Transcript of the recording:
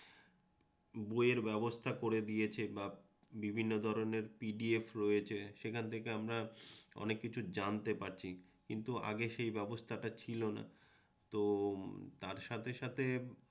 বইয়ের ব্যবস্থা করে দিয়েছে বা বিভিন্ন ধরণের পিডিএফ রয়েছে সেখান থেকে আমরা অনেক কিছু জানতে পারছি কিন্তু আগে সেই ব্যবস্থাটা ছিলনা তো তার সাথে সাথে